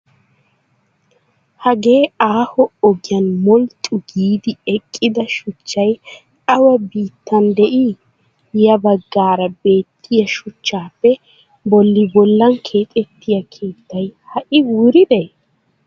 Hage aaho ogiyan molxxu giidi eqqida shuchchayi awa biittan de''ii? Ya baggaara beettiya shuchchappe bolli bollan kexettiyaa keettayi ha'ii wuridee?